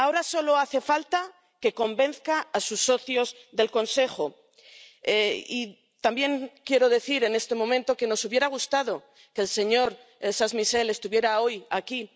Ahora solo hace falta que convenza a sus socios del Consejo —y también quiero decir en este momento que nos hubiera gustado que el señor Charles Michel estuviera hoy aquí